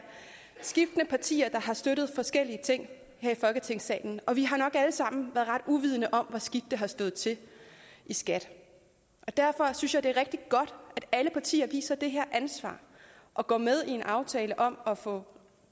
skiftende partier der har støttet forskellige ting her i folketingssalen og vi har nok alle sammen været ret uvidende om hvor skidt det har stået til i skat derfor synes jeg det er rigtig godt at alle partier viser det her ansvar og går med i en aftale om at få